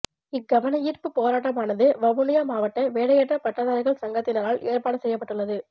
இக் கவனயீர்ப்புப் போராட்டமானது வவுனியா மாவட்ட வேலையற்ற பட்டதாரிகள் சங்கத்தினரால் ஏற்பாடு செய்யப்பட்டுள்ளது